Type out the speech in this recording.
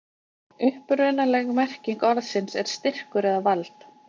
Upprunaleg merking orðsins er styrkur eða vald.